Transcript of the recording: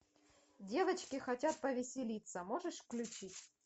девочки хотят повеселиться можешь включить